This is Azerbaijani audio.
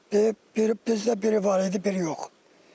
Bizdə biri var idi, biri yox.